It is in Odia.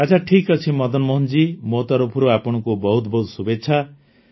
ଆଚ୍ଛା ଠିକ୍ ଅଛି ମଦନମୋହନ ଜୀ ମୋ ତରଫରୁ ଆପଣଙ୍କୁ ବହୁତ ବହୁତ ଶୁଭେଚ୍ଛା